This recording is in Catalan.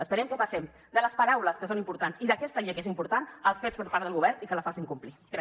esperem que passem de les paraules que són importants i d’aquesta llei que és important als fets per part del govern i que la facin complir